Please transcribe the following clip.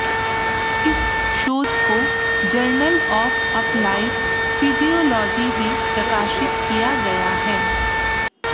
इस शोध को जर्नल ऑफ अप्लाइड फिजियोलॉजी में प्रकाशित किया गया है